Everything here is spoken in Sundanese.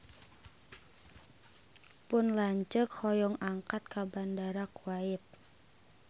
Pun lanceuk hoyong angkat ka Bandara Kuwait